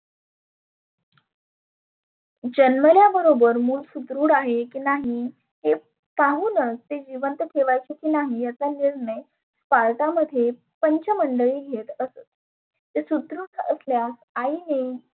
जन्मल्याबरोबर मुल सुदृढ आहे की नाही हे पाहुनच ते जिवंत ठेवायचे की नाही याचा निर्णय कार्डामध्ये पंच मंडळी घेत असत. ते सुदृढ आसल्यास आईने